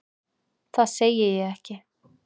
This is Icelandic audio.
Það segi ég ekki.